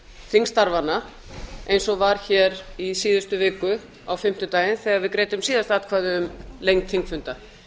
þingstarfanna eins og var hér í síðustu viku á fimmtudaginn þegar við greiddum síðast atkvæði um lengd þingfunda